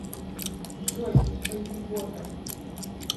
джой поебота